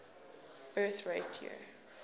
birth rate year